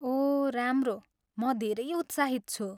ओह राम्रो, म धेरै उत्साहित छु।